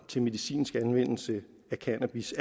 til medicinsk anvendelse af cannabis